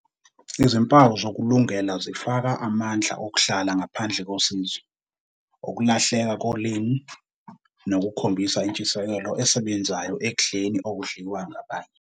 Izimpawu zokulungela zifaka amandla okuhlala ngaphandle kosizo, ukulahleka kolimi, nokukhombisa intshisekelo esebenzayo ekudleni okudliwa abanye.